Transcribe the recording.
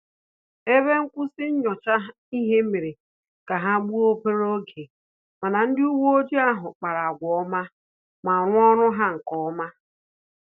Ebe nkwụsị nyocha ihe mere ka ha gbuo obere oge, mana ndị uwe ojii ahụ kpara agwa ọma ma rụọ ọrụ ha nkeọma